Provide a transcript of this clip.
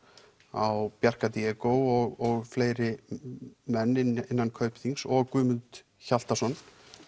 á Bjarka Diego og fleiri menn innan Kaupþings og Guðmund Hjaltason